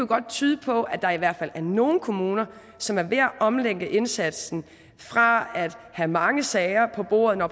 godt tyde på at der i hvert fald er nogle kommuner som er ved at omlægge indsatsen fra at have mange sager på bordet når